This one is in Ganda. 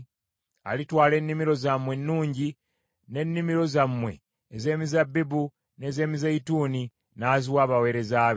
Alitwala ennimiro zammwe ennungi, n’ennimiro zammwe ez’emizabbibu n’ez’emizeeyituuni, n’aziwa abaweereza be.